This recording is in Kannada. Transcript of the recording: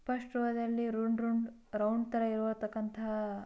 ಫಸ್ಟ್ ರೋ ದಲ್ಲಿ ರೌಂಡ್ ರೌಂಡ್ ರೌಂಡ್ ತರ ಇರೋತರಕ್ಕಂತ--